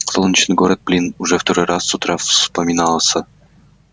солнечный город блин уже второй раз с утра вспоминался